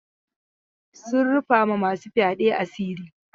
Sun rufa ma masu fyaɗe asiri.